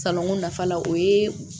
Salonko nafa la o ye